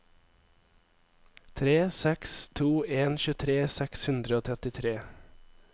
tre seks to en tjuetre seks hundre og trettitre